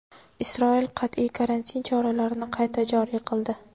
Isroil qat’iy karantin choralarini qayta joriy qildi.